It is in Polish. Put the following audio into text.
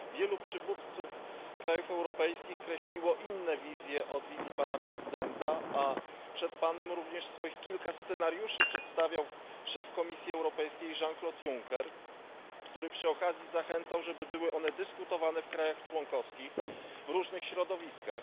Wielu przywódców krajów europejskich kreśliło inne wizje od wizji Pana Prezydenta, a przed Panem również swoich kilka scenariuszy przedstawiał szef Komisji Europejskiej Jean Claude Juncker, który przy okazji zachęcał, żeby były one dyskutowane w krajach członkowskich, w różnych środowiskach.